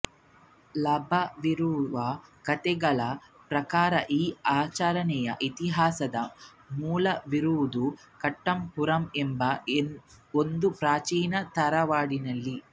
ಲಭ್ಯವಿರುವ ಕಥೆಗಳ ಪ್ರಕಾರ ಈ ಆಚರಣೆಯ ಇತಿಹಾಸದ ಮೂಲವಿರುವುದು ಕೊಟ್ಟಪ್ಪುರಂ ಎಂಬ ಒಂದು ಪ್ರಾಚೀನ ತರವಾಡಿನಲ್ಲಿ